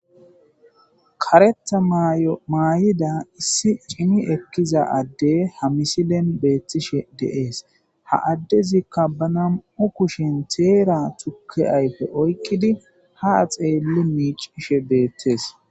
Karetha mayo mayida adde betishe dee's ha addezika ba na,mu kushe tera tuke ayife oyikidi ha xeli mici,she betees